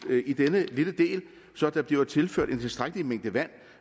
i denne lille del så der bliver tilført en tilstrækkelig mængde vand